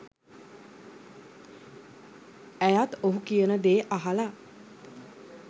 ඇයත් ඔහු කියන දේ අහල